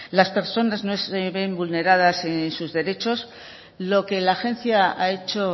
las personas no ven vulneradas sus derechos lo que la agencia ha hecho